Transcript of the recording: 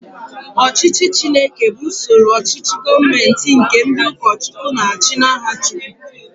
Ọchịchị Chineke bụ usoro ochichi gọọmenti nke ndị ụkọchukwu na-achi n'aha chukwu.